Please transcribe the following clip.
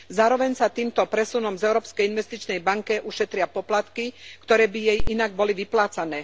Zároveň sa týmto presunom z Európskej investičnej banky ušetria poplatky, ktoré by jej inak boli vyplácané.